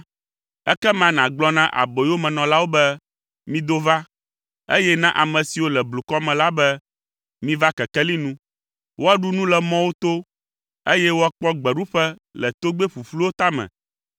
ekema nàgblɔ na aboyomenɔlawo be, ‘Mido va’, eye na ame siwo le blukɔ me la be, ‘Miva kekeli nu!’ “Woaɖu nu le mɔwo to, eye woakpɔ gbeɖuƒe le togbɛ ƒuƒluwo tame.